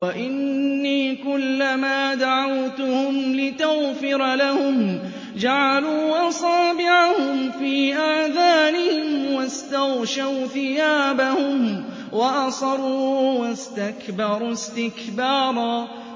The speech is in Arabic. وَإِنِّي كُلَّمَا دَعَوْتُهُمْ لِتَغْفِرَ لَهُمْ جَعَلُوا أَصَابِعَهُمْ فِي آذَانِهِمْ وَاسْتَغْشَوْا ثِيَابَهُمْ وَأَصَرُّوا وَاسْتَكْبَرُوا اسْتِكْبَارًا